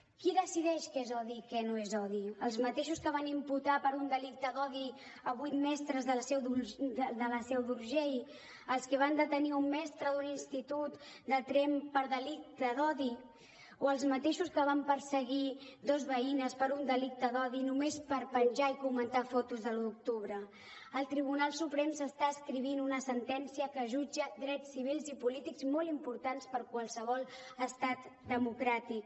qui decideix què és odi i què no és odi els mateixos que van imputar per un delicte d’odi a vuit mestres de la seu d’urgell els que van detenir un mestre d’un institut de tremp per delicte d’odi o els mateixos que van perseguir dos veïnes per un delicte d’odi només per penjar i comentar fotos de l’un d’octubre al tribunal suprem s’està escrivint una sentència que jutja drets civils i polítics molt importants per qualsevol estat democràtic